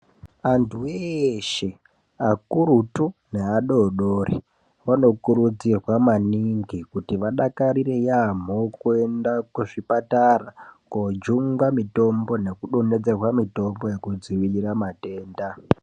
Vantu eshe akuritu neadodori vanokurudzirwa maningi kuti vadakarire yambo kuenda kuzvipatara kojungwa mitombo nekudongedzerwa mitombo yekudzivirira matenda.